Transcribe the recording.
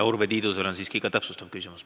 Urve Tiidusel on ka täpsustav küsimus.